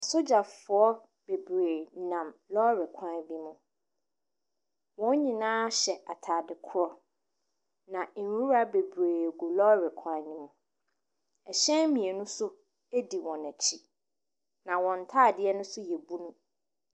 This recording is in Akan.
Asogyafoɔ bebree nam lɔɔre kwan bi ho. Wɔn nyinaa hyɛ atade korɔ. Na nwura bebree gu lɔɔre kwan no ho. Ɛhyɛn mmienu nso di wɔn akyi. Na wɔn ntadeɛ no nso yɛ bunu.